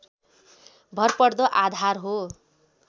भरपर्दो आधार हो